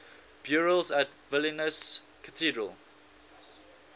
burials at vilnius cathedral